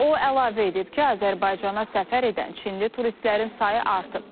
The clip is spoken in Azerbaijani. O əlavə edib ki, Azərbaycana səfər edən Çinli turistlərin sayı artıb.